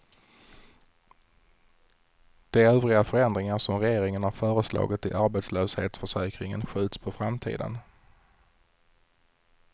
De övriga förändringar som regeringen har föreslagit i arbetslöshetsförsäkringen skjuts på framtiden.